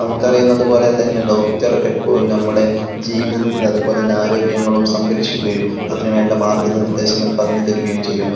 നമുക്ക് അറിയുന്നത് പോലെ തന്നെ ഡോക്ടർ എപ്പോഴും നമ്മുടെ ജീവിതത്തിൽ അതുപോലെ തന്നെ ആരോഗ്യങ്ങളും സംരക്ഷിക്കുകയും അതിന് വേണ്ട മാർഗ്ഗ നിർദേശങ്ങൾ പറഞ്ഞ് തരുകയും ചെയുന്നു.